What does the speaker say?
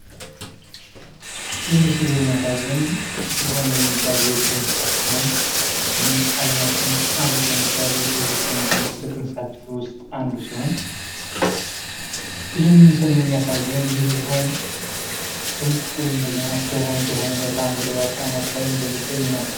ይህ ምስል የሚያሳየን ዝሆን የሚባል የዱር እንስሳት ሲሆን ይህም አለማችን ውስጥ አሉ ከሚባሉ ግዙፍ ወይም ደግሞ ትልቅ እንስሳቶች ውስጥ አንዱ ሲሆን ይህም ምስል የሚያሳየን ይህ ዝሆን ድንቅ ወይም ደግሞ አስገራሚ በሆነ መልክአምድራዊ አቀማመጥ እንደሚገኝ ነው።